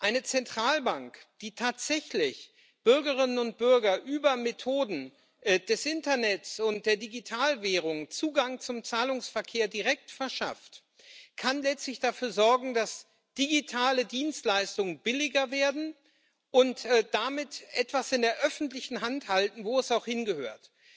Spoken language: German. Eine Zentralbank, die tatsächlich Bürgerinnen und Bürgern über Methoden des Internets und der Digitalwährung direkt Zugang zum Zahlungsverkehr verschafft, kann letztlich dafür sorgen, dass digitale Dienstleistungen billiger werden, und damit etwas in der öffentlichen Hand halten, wo es auch hingehört.